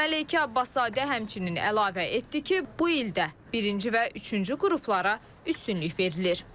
Məleykə Abbaszadə həmçinin əlavə etdi ki, bu ildə birinci və üçüncü qruplara üstünlük verilir.